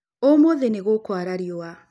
Ũmũthĩ nĩ gũkũara riũa